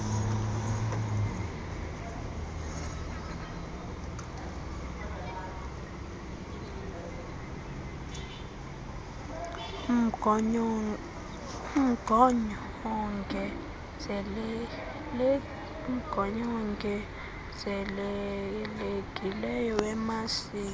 mgonyo wongezelelekileyo wemasisi